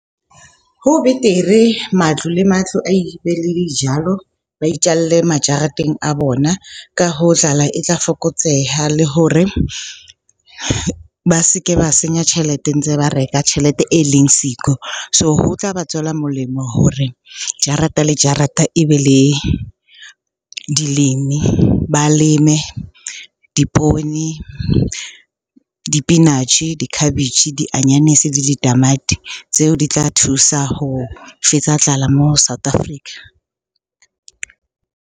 Ho betere matlo le matlo a dijalo. Ba itjalle majareteng a bona. Ka hoo, tlala e tla fokotseha le hore ba se ke ba senya tjhelete ntse ba reka tjhelete e leng siko. So, ho tla ba tswela molemo hore jarata le jarata e be le dilemi. Ba leme dipoone, dipinatjhe, dikhabetjhe, dianyanisi, di ditamati tseo di tla thusa ho fetsa tlala moo South Africa.